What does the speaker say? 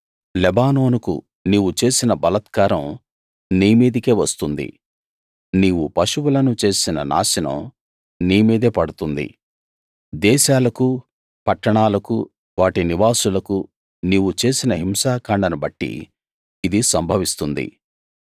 లెబానోనునకు నీవు చేసిన బలాత్కారం నీ మీదికే వస్తుంది నీవు పశువులను చేసిన నాశనం నీ మీదే పడుతుంది దేశాలకు పట్టణాలకు వాటి నివాసులకు నీవు చేసిన హింసాకాండను బట్టి ఇది సంభవిస్తుంది